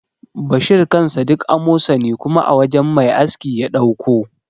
Bashir kansa duk amosani kuma a wajan mai aski ya ɗauko.